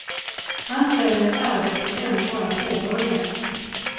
Han säger att arbetet ännu bara påbörjats.